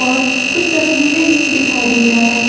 और कुछ तस्वीरें दिखाई दे रहा है।